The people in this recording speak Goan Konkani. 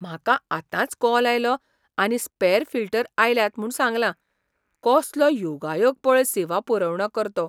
म्हाका आतांच कॉल आयलो आनी स्पॅर फिल्टर आयल्यात म्हूण सांगलां. कसलो योगायोग पळय सेवा पुरवणकर्तो